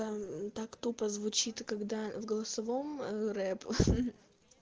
там так тупо звучит когда в голосовом рэп